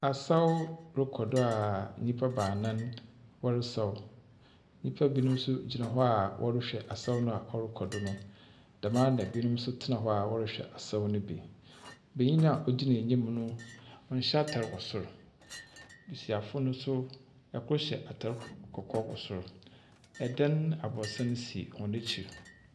Asaw rokɔ do a nyimpa baanan wɔresaw, nyimpa binom so gyina hɔ wɔrohwɛ asaw a ɔrokɔ do no, dɛmara so na binom tsena hɔ a wɔrohwɛ asaw no bi. Banyin no a ogyina enyim no, ɔnnhyɛ atar wɔ sor. Mabasiafo no so, kor hyɛ atar kɔkɔɔ wɔ sor. Adan sisi hɔn ekyir.